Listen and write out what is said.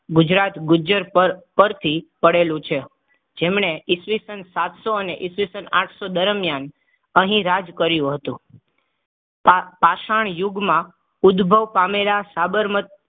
ગુજરાત ગુજ્જર પર પરથી પડેલું છે. જેમણે ઇસવીસન સાતસો અને ઈસવીસન આઠસો દરમિયાન અહીં રાજ કર્યું હતું. પા પાષણ યુગમાં ઉદ્ભવ પામેલા સાબરમતી